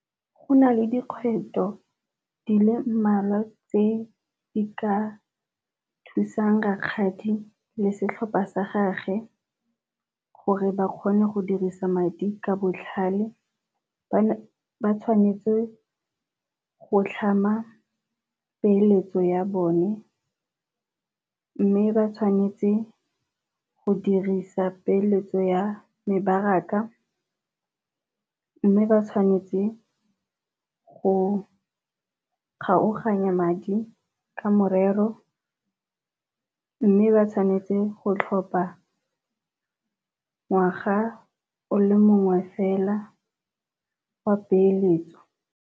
Go na le dikgwetlho di le mmalwa tse di ka thusang rakgadi le setlhopha sa gage gore ba kgone go dirisa madi ka botlhale. Ba tshwanetse go tlhama peeletso ya bone, mme ba tshwanetse go dirisa peeletso ya mebaraka mme ba tshwanetse go kgaoganya madi ka morero mme ba tshwanetse go tlhopa ngwaga o le mongwe fela wa peeletso.